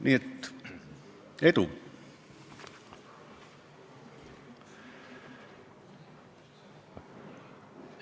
Nii et edu!